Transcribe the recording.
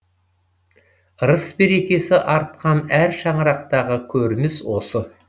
ырыс берекесі артқан әр шаңырақтағы көрініс осы